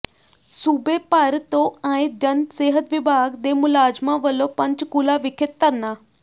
ਸੂਬੇ ਭਰ ਤੋਂ ਆਏ ਜਨ ਸਿਹਤ ਵਿਭਾਗ ਦੇ ਮੁਲਾਜ਼ਮਾਂ ਵਲੋਂ ਪੰਚਕੂਲਾ ਵਿਖੇ ਧਰਨਾ